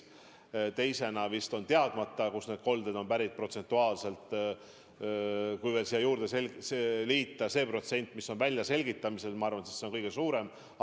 Protsentuaalselt teisena on vist teadmata, kust need kolded on pärit, ja kui siia juurde liita veel nende juhtumite protsent, mis on väljaselgitamisel, siis ma arvan, et see on kõige suurem grupp.